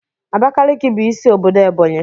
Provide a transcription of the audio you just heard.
Abakaliki bụ isi obodo Ebonyi.